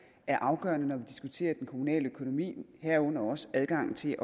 er afgørende når vi diskuterer den kommunale økonomi herunder også adgang til